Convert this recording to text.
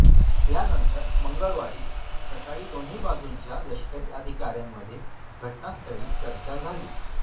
यानंतर मंगळवारी सकाळी दोन्ही बाजूंच्या लष्करी अधिकाऱ्यांमध्ये घटनास्थळी चर्चा झाली